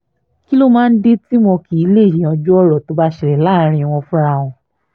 kí ló máa ń dé tí wọn kì í lèé yanjú ọ̀rọ̀ tó bá ṣẹlẹ̀ láàrin wọn fúnra wọn